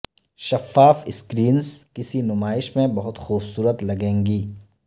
شفاف سکرینز کسی نمائش میں بہت خوبصورت لگیں گی